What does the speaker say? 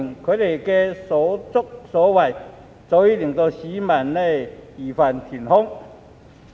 他們的所作所為，早已令市民義憤填膺。